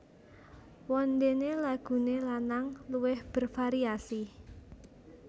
Wondene lagune lanang luwih bervariasi